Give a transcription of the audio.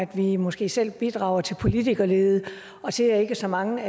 vi måske selv bidrager til politikerlede og til at ikke så mange